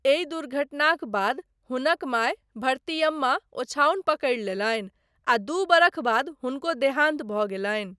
एहि दुर्घटनाक बाद हुनक माय भरतियम्मा ओछाओनि पकड़ि लेलनि आ दू बरख बाद हुनको देहान्त भऽ गेलनि।